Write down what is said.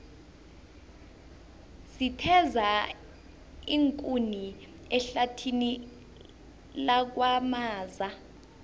sitheza iinkuni ehlathini lakwamaza